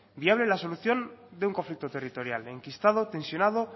viable la solución de un conflicto territorial enquistado tensionado